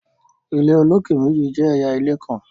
ilé olokè méjì jẹ ẹyà ilé nkán